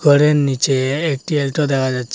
ঘরের নীচে একটি অ্যালটো দেখা যাচ্ছে।